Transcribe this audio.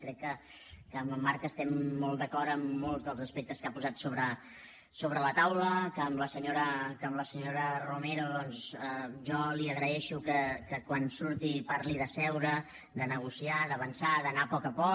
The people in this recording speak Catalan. crec que amb en marc estem molt d’acord en molts dels aspectes que ha posat sobre la taula que a la senyora romero doncs jo li agraeixo que quan surti parli de seure de negociar d’avançar d’anar a poc a poc